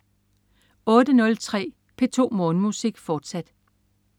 08.03 P2 Morgenmusik, fortsat